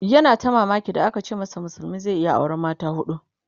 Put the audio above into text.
yana ta mamaki da aka ce masa musulmi zai iya auran mata hudu